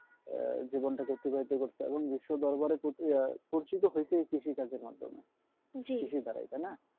আহ জীবনটাকে অতিবাহিত করতে এবং বিশ্ব দরবারে পরিচিত হয়েছে এই কৃষিকাজের মাধ্যমে কৃষি দ্বারাই তাইনা